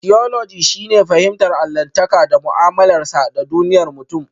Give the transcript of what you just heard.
Tiyoloji shine fahimtar allahntaka da mu'amalarsa da duniyar mutum.